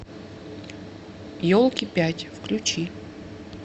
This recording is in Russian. елки пять включи